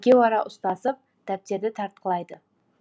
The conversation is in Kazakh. екеуара ұстасып дәптерді тартқылайды